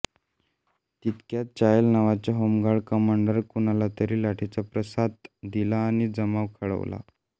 तितक्यात चायल नावाच्या होमगार्ड कमांडरने कुणालातरी लाठीचा प्रसाद दिला आणि जमाव खवळला